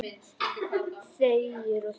Þegir og þegir.